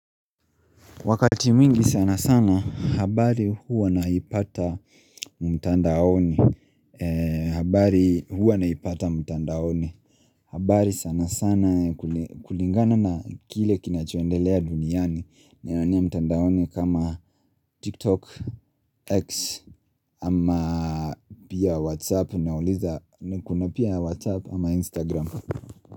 Wakati mwingi sana sana habari huwa naipata mtandaoni habari huwa naipata mtandaoni habari sana sana kulingana na kile kinachoendelea duniani Ninaonea mtandaoni kama tiktok x ama pia whatsapp nauliza kuna pia whatsapp ama instagram.